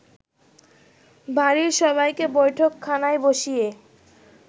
বাড়ির সবাইকে বৈঠকখানায় বসিয়ে